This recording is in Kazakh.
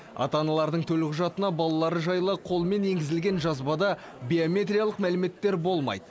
ана аналардың төлқұжатына балалары жайлы қолмен енгізілген жазбада биометриялық мәліметтер болмайды